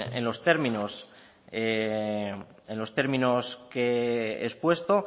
en los términos que he expuesto